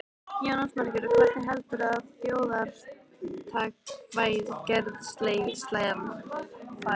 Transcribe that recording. Jónas Margeir: Og hvernig heldurðu að þjóðaratkvæðagreiðslan fari?